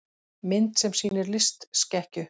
Mynd sem sýnir litskekkju.